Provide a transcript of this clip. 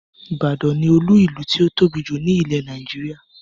Ìbàdàn ni Olú-ìlú tí ó tóbi jù ni ilẹ̀ Nàìjíríà